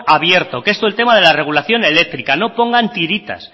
abierto que es todo el tema de la regulación eléctrica no pongan tiritas